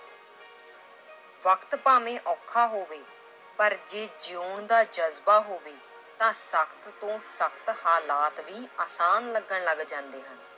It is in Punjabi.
ਵਕਤ ਭਾਵੇਂ ਔਖਾ ਹੋਵੇ ਪਰ ਜੇ ਜਿਉਣ ਦਾ ਜ਼ਜ਼ਬਾ ਹੋਵੇ ਤਾਂ ਸਖ਼ਤ ਤੋਂ ਸਖ਼ਤ ਹਾਲਾਤ ਵੀ ਆਸਾਨ ਲੱਗਣ ਲੱਗ ਜਾਂਦੇ ਹਨ।